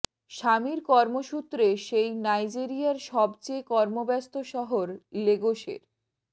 স্বামীর কর্মসূত্রে সেই নাইজেরিয়ার সব চেয়ে কর্মব্যস্ত শহর লেগোসের